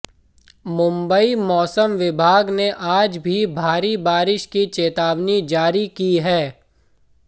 मुंबई मौसम विभाग ने आज भी भारी बारिश की चेतावनी जारी की है